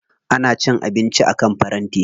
Ana cin abinci akan faranti.